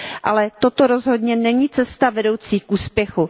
Ale toto rozhodně není cesta vedoucí k úspěchu.